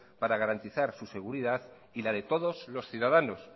para garantizar su seguridad y la de todos los ciudadanos